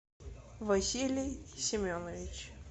василий семенович